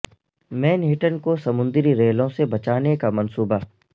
مین ہٹن کو سمندری ریلوں سے بچانے کا منصوبہ